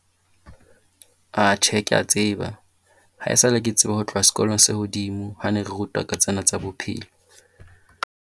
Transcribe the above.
A tjhe kea tseba. Haesale ke tseba ho tloha sekolong se hodimo. Ha ne re rutwa ka tsena tsa bophelo.